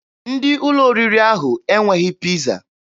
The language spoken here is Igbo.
Ndị ụlọ oriri ahụ enweghị Piiza.